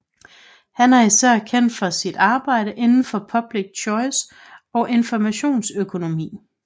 Han er især kendt for sit arbejde inden for public choice og informationsøkonomi